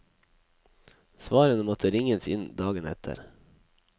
Svarene måtte ringes inn dagen etter.